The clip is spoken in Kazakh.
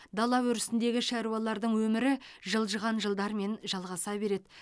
дала өрісіндегі шаруалардың өмірі жылжыған жылдармен жалғаса береді